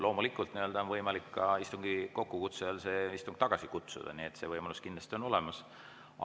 Loomulikult on võimalik istungi kokkukutsujal see istung tagasi kutsuda, see võimalus kindlasti on olemas.